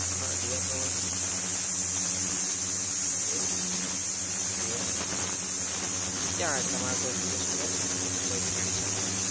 હા જુહાપુરા માં જ રેવાનું. એવું છે જોયા હમ ક્યાં તમારું કોઈ રિલેશન રે છે એટલે કોઈ friend circle?